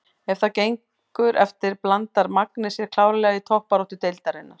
Ef það gengur eftir blandar Magni sér klárlega í toppbaráttu deildarinnar!